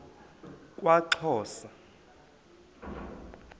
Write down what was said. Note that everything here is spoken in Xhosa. kwaxhosa